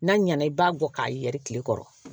N'a ɲɛna i b'a bɔ k'a yɛrɛ tile kɔrɔ